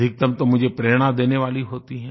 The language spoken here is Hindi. अधिकतम तो मुझे प्रेरणा देने वाली होती हैं